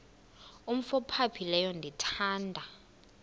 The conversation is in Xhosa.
umf ophaphileyo ndithanda